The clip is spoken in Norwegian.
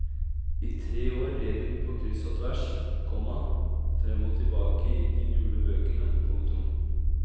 I tre år red hun på kryss og tvers, komma frem og tilbake i de gule bøkene. punktum